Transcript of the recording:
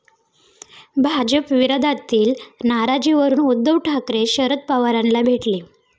भाजपविरोधातील नाराजीवरून उद्धव ठाकरे, शरद पवारांना भेटले!